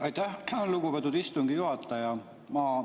Aitäh, lugupeetud istungi juhataja!